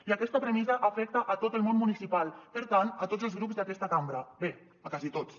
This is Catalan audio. i aquesta premissa afecta a tot el món municipal per tant a tots els grups d’aquesta cambra bé a quasi tots